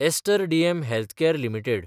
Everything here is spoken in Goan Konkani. ester DM Healthcare limited